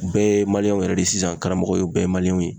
U bɛɛ ye yɛrɛ de ye sisan ,karamɔgɔ ye bɛɛ ye ye.